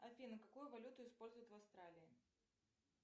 афина какую валюту используют в австралии